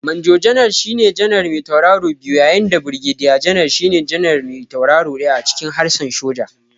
Manjo janar shine janar me tauraro biyu yayin da Birgediya janar shine janar me tauraro ɗaya a cikin harshen soja.